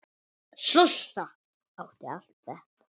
Sossa átti allt þetta.